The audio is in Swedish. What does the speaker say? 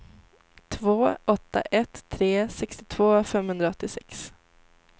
två åtta ett tre sextiotvå femhundraåttiosex